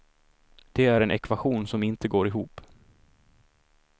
Det är en ekvation som inte går ihop.